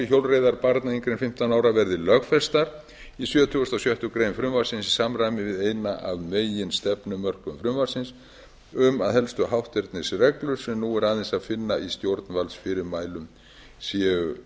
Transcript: hjólreiðar barna yngri en fimmtán ára verði lögfest í sjötugasta og sjöttu greinar frumvarpsins í samræmi við eitt af meginstefnumörkum frumvarpsins um að helstu hátternisreglur sem nú er aðeins að finna í stjórnvaldsfyrirmælum séu